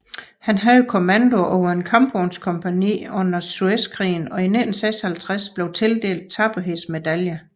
Han havde kommandoen over et kampvognskompagni under Suezkrigen i 1956 og blev tildelt tapperhedsmedaljen